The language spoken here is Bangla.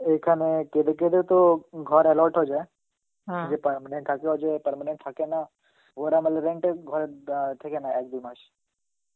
এখানে কেদে কেদে তো ঘর allot হয়ে যায়, যেটা মানে permanent থাকে না. ওরা মানে rent এর ঘরে অ্যাঁ থেকে নেয় এক দুমাস.